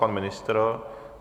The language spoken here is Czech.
Pan ministr?